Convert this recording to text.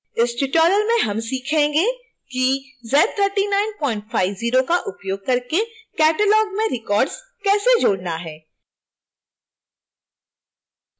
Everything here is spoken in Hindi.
इस tutorial में हम सीखेंगे कि z3950 का उपयोग करके catalog में records कैसे जोड़ना है